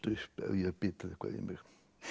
upp ef ég hef bitið eitthvað í mig